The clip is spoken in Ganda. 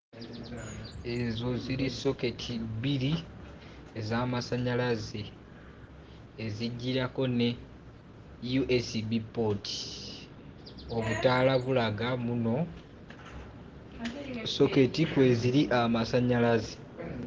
Ezo ziri soketi bbiri ez'amasannyalaze ezijjirako ne USB pooti. Obutaala bulaga mbunno soketi kweziri amasannyalaze.